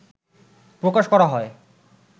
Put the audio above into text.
প্রকাশ করা হয়